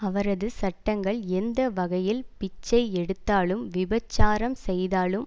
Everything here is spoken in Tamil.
அவரது சட்டங்கள் எந்த வகையில் பிச்சை எடுத்தாலும் விபச்சாரம் செய்தாலும்